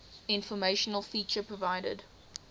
informational feature provided